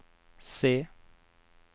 se